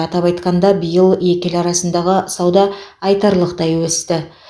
атап айтқанда биыл екі ел арасындағы сауда айтарлықтай өсті